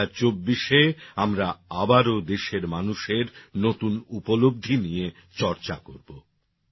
২০২৪ এ আমরা আবারো দেশের মানুষের নতুন উপলব্ধি নিয়ে চর্চা করব